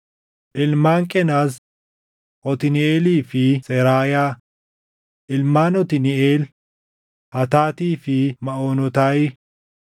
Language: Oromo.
Ilmaan Qenaz: Otniiʼeelii fi Seraayaa. Ilmaan Otniiʼeel: Hataatii fi Maʼoonotaayi.